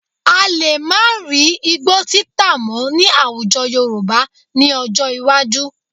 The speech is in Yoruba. A lè má rí igbó títàn mọ́ ní àwùjọ Yorùbá ní ọjọ́ iwájú